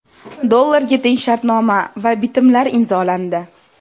dollarga teng shartnoma va bitimlar imzolandi.